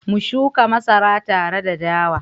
mu shuka masara tare da dawa?